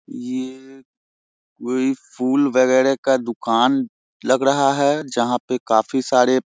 ये कोई फूल वैगरा का दुकान लग रहा है जहाँ पे कफी सारे--